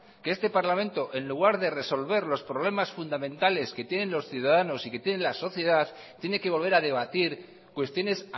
que este parlamento en lugar de resolver los problemas fundamentales que tienen los ciudadanos y que tiene la sociedad tiene que volver a debatir cuestiones